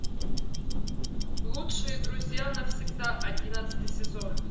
лучшие друзья навсегда одиннадцатый сезон